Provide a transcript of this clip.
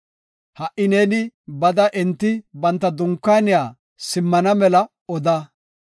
Ha77i neeni bada enti banta dunkaaniya simmana mela oda.